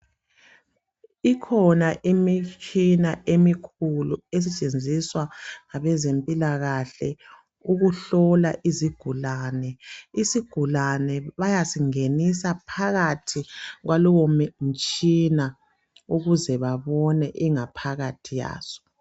Ikhona imitshina emikhulu esetshenziswa ngabezempilakahle ukuhlola izigulane. Isigulane bayasingenisa phakathi kwalowo mtshina ukuze babone ingaphakathi yaso